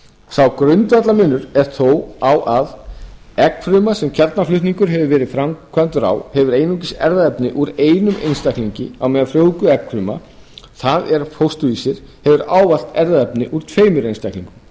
sá grundvallarmunur er þó á að eggfruma sem kjarnaflutningur hefur verið framkvæmdur á hefur einungis erfðaefni úr einum einstaklingi á meðan frjóvguð eggfruma það er fósturvísir hefur ávallt erfðaefni úr tveimur einstaklingum